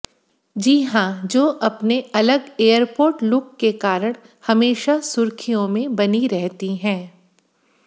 जी हां जो अपने अलग एयरपोर्ट लुक के कारण हमेशा सुर्खियों में बनी रहती हैं